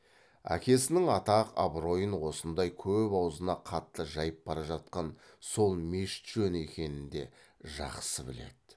әкесінің атақ абыройын осындай көп аузына қатты жайып бара жатқан сол мешіт жөні екенін де жақсы біледі